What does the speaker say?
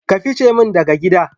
Ka ficimin daga gida.